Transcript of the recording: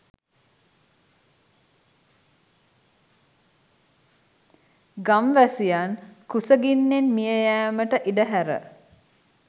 ගම් වැසියන් කුස ගින්නෙන් මිය යෑමට ඉඩ හැර